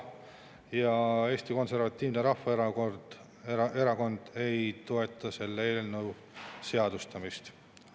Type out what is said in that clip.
Ja Eesti Konservatiivne Rahvaerakond ei toeta selle eelnõu seadustamist.